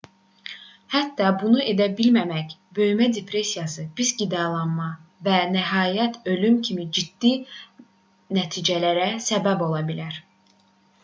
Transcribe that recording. hətta bunu edə bilməmək böyümə depressiyası pis qidalanma və nəhayət ölüm kimi ciddi nəticələrə səbəb ola bilər